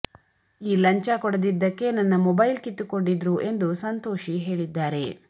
ಈ ಲಂಚ ಕೊಡದಿದ್ದಕ್ಕೆ ನನ್ನ ಮೊಬೈಲ್ ಕಿತ್ತುಕೊಂಡಿದ್ರು ಎಂದು ಸಂತೋಷಿ ಹೇಳಿದ್ದಾರೆ